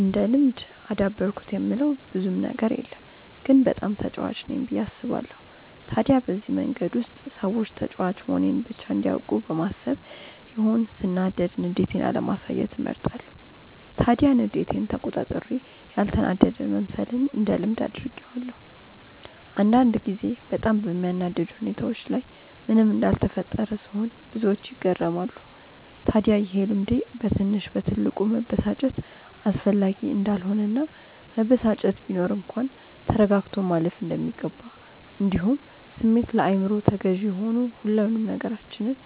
እንደ ልምድ አዳበርኩት የምለው ብዙም ነገር የለም ግን በጣም ተጫዋች ነኝ ብዬ አስባለው። ታዲያ በዚህ መንገድ ውስጥ ሰዎች ተጫዋች መሆኔን ብቻ እንዲያውቁ በማሰብ ይሆን ሰናዳድ ንዴቴን አለማሳየትን እመርጣለው። ታዲያ ንዴቴን ተቆጣጥሬ ያልተናደደ መምሰልን እንደ ልምድ አድርጌዋለው። አንዳንድ ጊዜ በጣም በሚያናድድ ሁኔታዎች ላይ ምንም እንዳልተፈጠረ ስሆን ብዙዎች ይገረማሉ። ታድያ ይሄ ልምዴ በትንሽ በትልቁ መበሳጨት አስፈላጊ እንዳልሆነ እና መበሳጨት ቢኖር እንኳን ተረጋግቶ ማለፍ እንደሚገባ እንዲሁም ስሜት ለአይምሮ ተገዢ ሆኑ ሁሉንም ነገራችንን